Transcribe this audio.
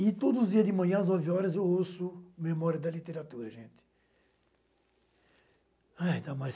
E todos os dias de manhã, às nove horas, eu ouço Memória da Literatura, gente. Ai Damaris.